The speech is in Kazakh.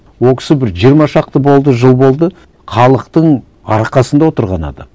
ол кісі бір жиырма шақты болды жыл болды халықтың арқасында отырған адам